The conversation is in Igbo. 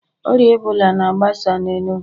Ọrịa Ebola na-agbasa n'enugu